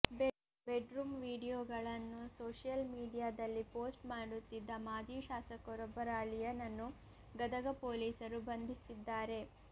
bed room ವಿಡಿಯೋಗಳನ್ನು social ಮೀಡಿಯಾದಲ್ಲಿ post ಮಾಡುತ್ತಿದ್ದ ಮಾಜಿ ಶಾಸಕರೊಬ್ಬರ ಅಳಿಯನನ್ನು ಗದಗ ಪೊಲೀಸರು ಬಂಧಿಸಿದ್ದಾರೆ